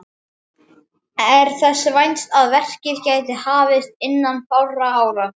Er þess vænst að verkið geti hafist innan fárra ára.